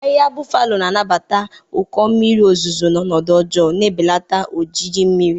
Ahịhịa Buffalo na-anabata ụkọ mmiri ozuzo na ọnọdụ ọjọọ, na-ebelata ojiji mmiri.